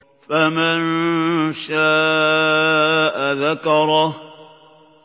فَمَن شَاءَ ذَكَرَهُ